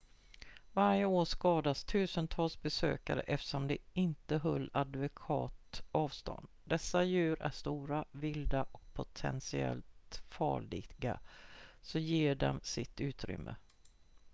varje år skadas dussintals besökare eftersom de inte höll adekvat avstånd dessa djur är stora vilda och potentiellt farliga så ge dem sitt utrymme